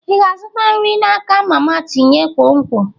Ị ga-azụta nri n'aka mama tinye nkwonkwo?